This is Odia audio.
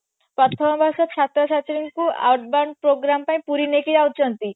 ପ୍ରଥମ ମାସ ସପ୍ତଶତୀ ଙ୍କୁ advance program ପାଇଁ ପୁରୀ ନେଇକି ଯାଉଛନ୍ତି